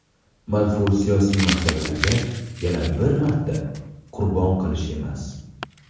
manfur siyosiy maqsadlarga yana bir marta qurbon qilish emas!.